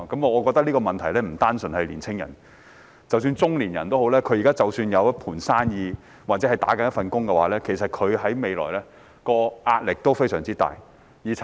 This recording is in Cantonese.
我覺得這個問題並非年青人獨有，中年人即使現時有一盤生意或有一份工作，其實未來的壓力也非常大。